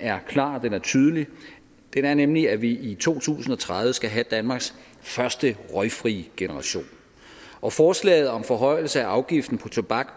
er klar den er tydelig den er nemlig at vi i to tusind og tredive skal have danmarks første røgfri generation og forslaget om forhøjelse af afgiften på tobak